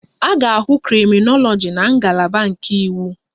A ga-ahụ krịminoloji na ngalaba nke iwu